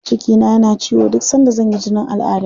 Cikina yana ciwo duk sanda zan yi jinin al'adda.